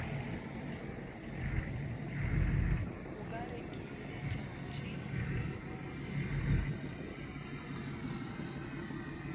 o ka re ke letšatši